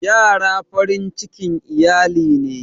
Ƴara farin cikin iyali ne.